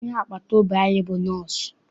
Onye agbata obi anyị bụ nọsụ.